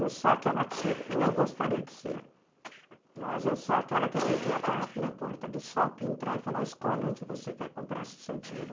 Eu sou aquela tipo, não gostaria de ser, mas eu sou aquela que eu tenho que ir até na porta do shopping, entrar e falar, escolhe onde você quer comprar o seu dinheiro.